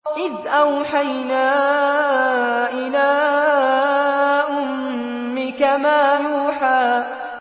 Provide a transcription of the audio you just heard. إِذْ أَوْحَيْنَا إِلَىٰ أُمِّكَ مَا يُوحَىٰ